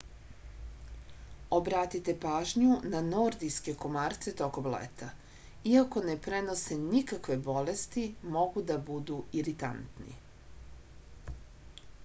obratite pažnju na nordijske komarce tokom leta iako ne prenose nikakve bolesti mogu da budu iritantni